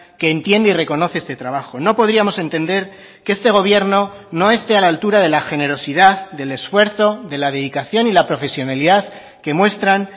que entiende y reconoce este trabajo no podríamos entender que este gobierno no esté a la altura de la generosidad del esfuerzo de la dedicación y la profesionalidad que muestran